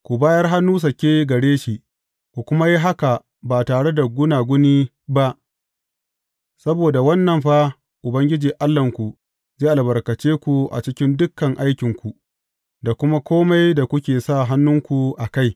Ku bayar hannu sake gare shi, ku kuma yi haka ba tare da gunaguni ba; saboda wannan fa Ubangiji Allahnku zai albarkace ku a cikin dukan aikinku, da kuma kome da kuka sa hannunku a kai.